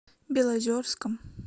белозерском